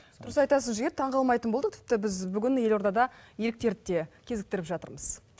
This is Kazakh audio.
дұрыс айтасыз жігер таң қалмайтын болдық тіпті біз бүгін елордада еліктерді де кезіктіріп жатырмыз